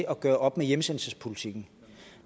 at gøre op med hjemsendelsespolitikken